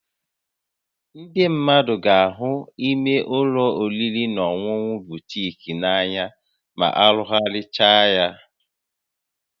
Ndị mmadụ ga-ahụ imé ụlọ oriri na ọṅụṅụ butiik a n'anya ma arụgharịchaa ha